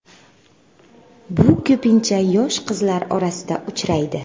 Bu ko‘pincha yosh qizlar orasida uchraydi.